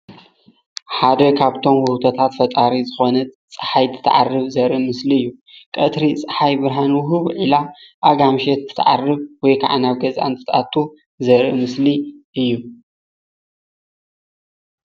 ሓደ ካብቶም ውህብቶታታት ፈጣሪ ዝኾነት ፀሓይ እንትትዓርብ ዘርኢ ሞስሊ እዩ።